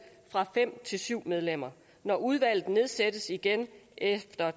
fra fem til syv medlemmer når udvalget nedsættes igen efter